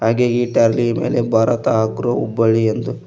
ಮೇಲೆ ಭಾರತ ಅಗ್ರೋ ಹುಬ್ಬಳ್ಳಿ ಎಂದು--